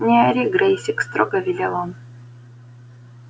не ори грэйсик строго велел он